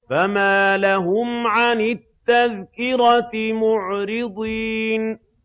فَمَا لَهُمْ عَنِ التَّذْكِرَةِ مُعْرِضِينَ